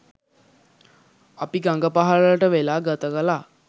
අපි ගඟ පහළට වෙලා ගත කළා.